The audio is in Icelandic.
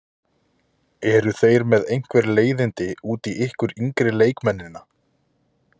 Eru þeir með einhver leiðindi út í ykkur yngri leikmennina?